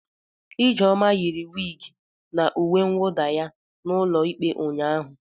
Ijeoma yiri wigi na uwe mwuda ya n'ulo ikpe ụnyaahụ.